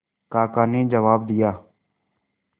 काका ने जवाब दिया